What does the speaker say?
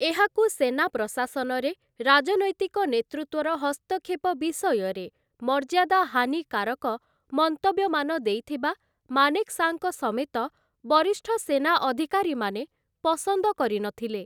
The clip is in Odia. ଏହାକୁ ସେନା ପ୍ରଶାସନରେ ରାଜନୈତିକ ନେତୃତ୍ୱର ହସ୍ତକ୍ଷେପ ବିଷୟରେ ମର୍ଯ୍ୟାଦାହାନିକାରକ ମନ୍ତବ୍ୟମାନ ଦେଇଥିବା ମାନେକ୍‌ଶାଙ୍କ ସମେତ ବରିଷ୍ଠ ସେନା ଅଧିକାରୀମାନେ ପସନ୍ଦ କରିନଥିଲେ ।